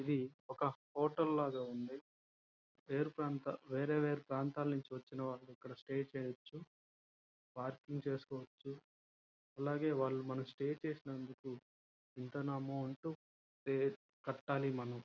ఇది ఒక హోటల్ లాగ ఉంది. వేరే వేరే ప్రాంతాలు నుండి వచ్చిన వారు ఉన్నారు. ]